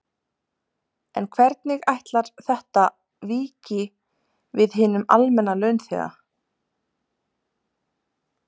En hvernig ætlar þetta víki við hinum almenna launþega?